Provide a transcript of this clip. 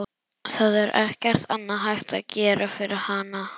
Það er ekkert annað hægt að gera fyrir hana.